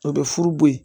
O bɛ furu b'o yen